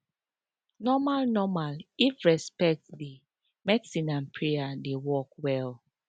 normal normal if respect dey medicine and prayer dey work well